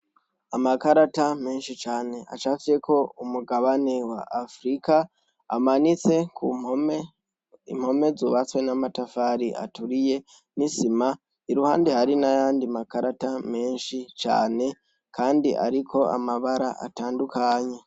Amakarata menshi cane acafyeko umugabani wa afirika amanitse ku mpome, impome zubatswe n'amatafari aturiye, n'isima, iruhande hari n'ayandi makarata menshi cane kandi ariko amabara atandukanye.